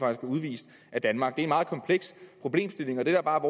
er udvist af danmark det er en meget kompleks problemstilling og det der bare